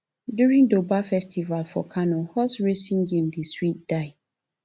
during durbar festival for kano horse racing game dey sweet die